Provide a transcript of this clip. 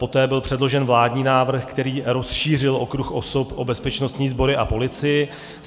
Poté byl předložen vládní návrh, který rozšířil okruh osob o bezpečnostní sbory a policii.